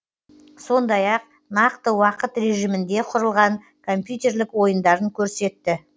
сондай ақ нақты уақыт режимінде құрылған компьютерлік ойындарын көрсетті